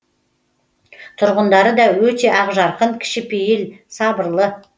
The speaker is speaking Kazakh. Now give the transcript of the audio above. тұрғындары да өте ақжарқын кішіпейіл сабырлы